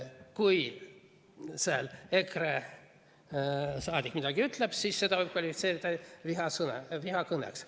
Kui EKRE liige midagi ütleb, siis seda võib kvalifitseerida vihakõneks.